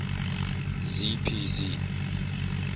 z p z